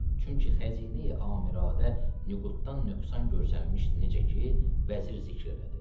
Çünki xəzinə-i amiradə nüquddan nöqsan görsənməmişdi, necə ki, vəzir zikr elədi.